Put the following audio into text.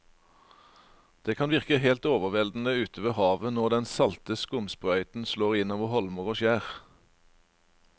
Det kan virke helt overveldende ute ved havet når den salte skumsprøyten slår innover holmer og skjær.